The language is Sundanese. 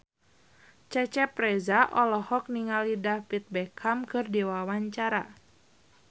Cecep Reza olohok ningali David Beckham keur diwawancara